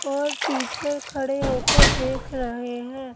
और टीचर खड़े हो कर देख रहे हैं।